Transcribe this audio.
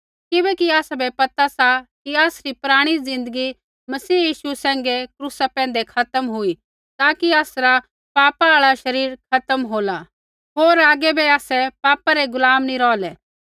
किबैकि आसाबै पता सा कि आसरी पराणी ज़िन्दगी मसीह यीशु सैंघै क्रूसा पैंधै खत्म हुई ताकि आसरा पापा आल़ा शरीर खत्म होला होर आगै बै आसै पापा रै गुलाम नी रौहलै